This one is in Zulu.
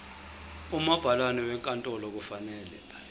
umabhalane wenkantolo kufanele